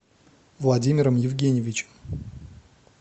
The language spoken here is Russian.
владимиром евгеньевичем